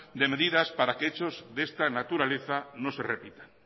de medidas para que hechos de esta naturaleza no se repitan